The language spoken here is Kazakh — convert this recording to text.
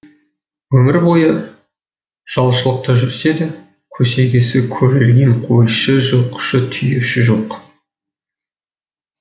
өмір бойы жалшылықта жүрсе де көсегесі көгерген қойшы жылқышы түйеші жоқ